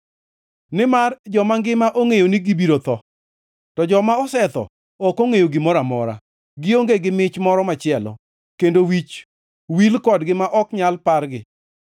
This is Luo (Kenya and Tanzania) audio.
Nimar joma ngima ongʼeyo ni gibiro tho, to joma osetho ok ongʼeyo gimoro amora; gionge gi mich moro machielo, kendo wich wil kodgi ma ok nyal pargi.